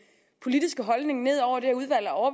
politiske holdning ned over det udvalg og